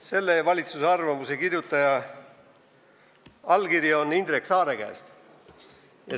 Selle valitsuse arvamuse kirjutaja allkiri on Indrek Saare oma.